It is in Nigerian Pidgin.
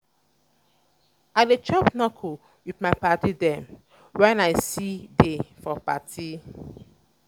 i dey chop knuckle with um my paddy dem wen i um see dey for party. um